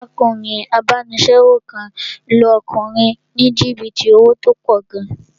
Arákùnrin abánisẹ́wò kan lu ọkùnrin ní jìbìtì owó tó pọ̀ gan